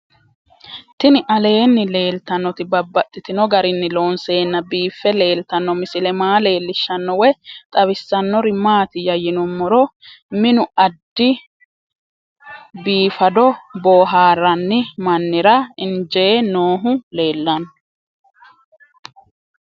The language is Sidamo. Tinni aleenni leelittannotti babaxxittinno garinni loonseenna biiffe leelittanno misile maa leelishshanno woy xawisannori maattiya yinummoro minu addi biiffaddo booharanni mannira iinnjje noohu leelanno